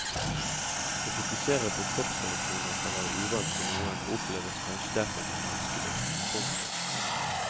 Å fokusere på kroppsreaksjoner kan være uvant for noen og oppleves kanskje derfor som vanskelig. punktum